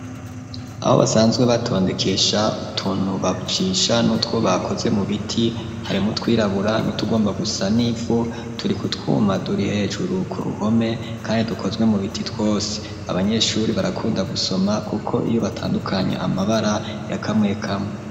Aho basanzwe batondekesha utuntu bajisha, n'utwo bakoze mu biti, harimwo utwirabura n'utugomba gusa n'ivu, turi ku twuma turi hejuru ku ruhome, kandi dukozwe mu biti twose; abanyeshuri barakunda gusoma kuko iyo batandukanye amabara ya kamwe kamwe.